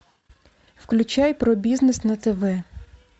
включай про бизнес на тв